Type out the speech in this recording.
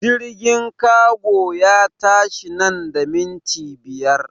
Jirgin kago ya tashi nan da minti biyar!